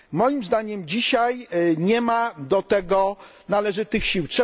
Moim zdaniem dzisiaj nie ma do tego należytych sił.